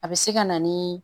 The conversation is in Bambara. A bɛ se ka na ni